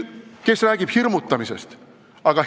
Kes räägib hirmutamisest?